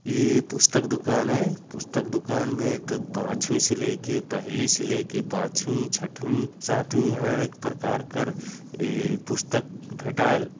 ए पुस्तक दुकान ऐ पुस्तक दुकान में तू पांचवी से लेके पहिली से लेके पांचवी छठवी सातवीं है एक प्रकार का ए पुस्तक भेटाएल--